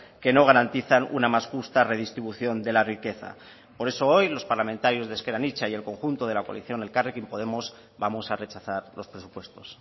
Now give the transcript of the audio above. que no garantizan una más justa redistribución de la riqueza por eso hoy los parlamentarios de ezker anitza y el conjunto de la coalición elkarrekin podemos vamos a rechazar los presupuestos